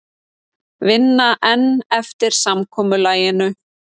Vinna enn eftir samkomulaginu